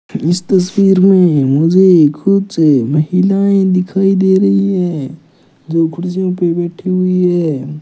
इस तस्वीर में मुझे कुछ महिलाएं दिखाई दे रहीं है जो कुर्सियों पे बैठी हुईं है।